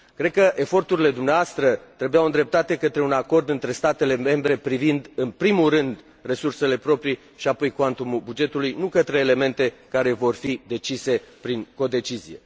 Cred că eforturile dumneavoastră trebuiau îndreptate către un acord între statele membre privind, în primul rând, resursele proprii și apoi cuantumul bugetului, nu către elemente care vor fi decise prin codecizie.